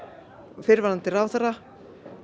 fyrrverandi ráðherrar